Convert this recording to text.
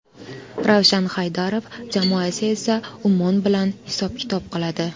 Ravshan Haydarov jamoasi esa Ummon bilan hisob-kitob qiladi.